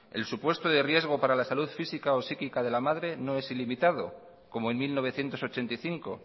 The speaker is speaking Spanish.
el supuesto de riesgo para la salud física o psíquica de la madre no es ilimitado como en mil novecientos ochenta y cinco